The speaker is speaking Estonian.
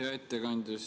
Hea ettekandja!